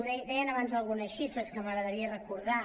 deien abans algunes xifres que m’agradaria recordar